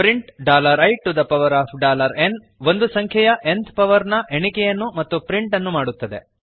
print iನ್ ಒಂದು ಸಂಖ್ಯೆಯ ನ್ತ್ ಪವರ್ ನ ಎಣಿಕೆಯನ್ನು ಮತ್ತು ಪ್ರಿಂಟ್ ಅನ್ನು ಮಾಡುತ್ತದೆ